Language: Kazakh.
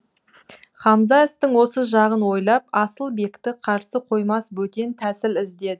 хамза істің осы жағын ойлап асылбекті қарсы қоймас бөтен тәсіл